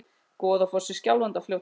Goðafoss í Skjálfandafljóti.